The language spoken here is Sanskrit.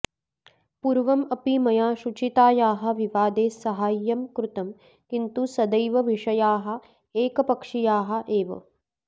पूर्वम् अपि मया शुचितायाः विवादे सहाय्यं कृतम् किन्तु सदैव विषयाः एकपक्षीयाः एव